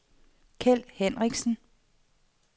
Keld Hinrichsen